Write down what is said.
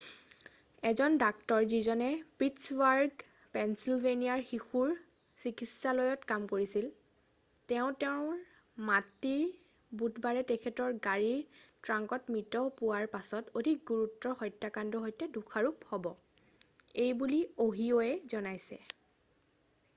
এজন ডাক্টৰ যিজনে পিটছবাৰ্গ পেঞ্চিলভেনিয়াৰ শিশুৰ চিকিৎসালয়ত কাম কৰিছিল তেওঁ তেওঁৰ মাতৃৰ বুধবাৰে তেখেতৰ গাড়ীৰ ট্ৰাংকত মৃত পোৱাৰ পাছত অধিক গুৰুতৰ হত্যাকাণ্ডৰ সৈতে দোষাৰোপ হ'ব এইবুলিঅ'হিঅ'য়ে কৈছে৷